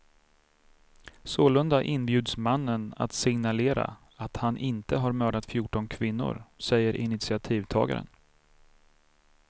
Sålunda inbjuds mannen att signalera att han inte har mördat fjorton kvinnor, säger initiativtagaren.